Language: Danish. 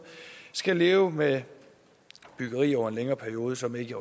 skal leve med byggeri over en længere periode som ikke